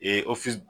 Ee